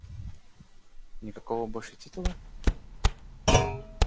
никакого больше титула